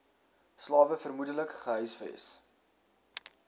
slawe vermoedelik gehuisves